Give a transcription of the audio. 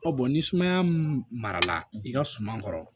ni sumaya mun marala i ka suma kɔrɔ